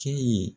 Cɛ ye